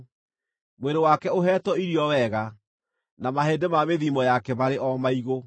mwĩrĩ wake ũheetwo irio wega, na mahĩndĩ ma mĩthiimo yake marĩ o maigũ.